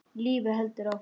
Lífið heldur áfram.